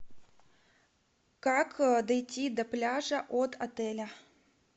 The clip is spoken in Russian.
как дойти до пляжа от отеля